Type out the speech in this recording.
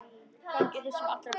Gangi þér sem allra best.